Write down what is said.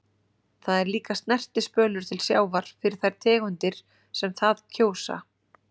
Það er líka snertispölur til sjávar fyrir þær tegundir sem það kjósa.